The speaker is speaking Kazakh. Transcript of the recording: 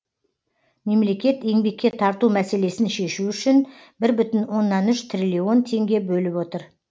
мемлекет еңбекке тарту мәселесін шешу үшін бір бүтін оннан үш триллион теңге бөліп отыр